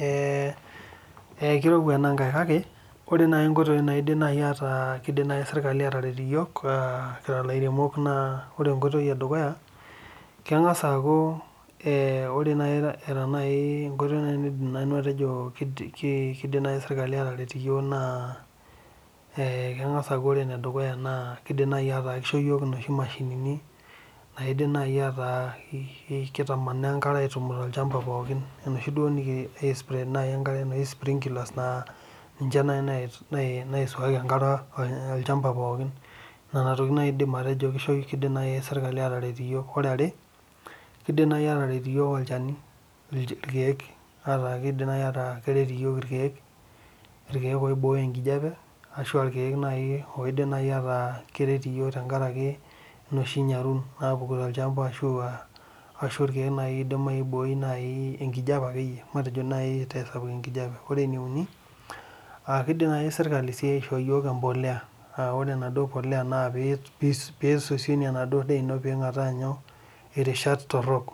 Ee ekirowua enankae kake ore nkoitoi naidim serkali ataret iyok kira lairemok naa ore enkoitoi edukuya na kidim nai serkali ataret iyok naa ee kengasa aaku ore enedukuya na kisho yiok noshi mashinini naitamanaa enkare aitaman olchamba pooki ninche nai naiswami enkarebolchamba pooki nona tokitin nai ajo kidim serkali ataret iyok ore eniare na irkiek kidim nai ataa keret iyiol irkiek oibooyo enkijape ashu irkiek irkirk la keret iyook tenkaraki enoshi nyaru ashu irkiek oidim aibooy enkijape ore eneuni kidim nai serkali aidho yiok embolea ore embolea napisosionie enaduo daa ino pingataa nyoo itishat torok